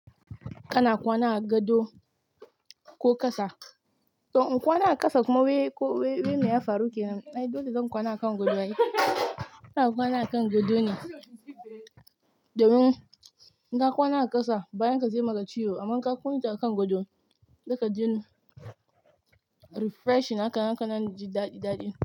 Kana kwana a gado ko ƙasa. To in kwana a ƙasa kuma wai me ya faru ke nan? Ai dole zan kwana a kan gado ai. Ina kwana a kan gado ne, domin in ka kwana a ƙasa bayan ka zai maka ciwo amma in ka kwana a kan gado, zai ka ji refreshing haka nan kaji daɗi daɗin.